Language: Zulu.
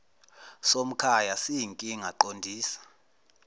somkhaya siyinkinga qondisa